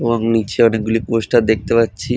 এবং নিচে অনেক গুলি পোস্টার দেখতে পাচ্ছি।